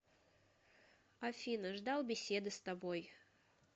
афина ждал беседы с тобой